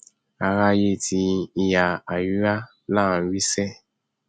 aráyé ti ìhà àríwá là ń wí sẹẹ